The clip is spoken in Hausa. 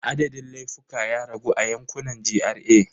Adadin laifuka ya ragu a yankunan GRA.